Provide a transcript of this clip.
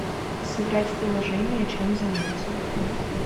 сыграть в приложение чем заняться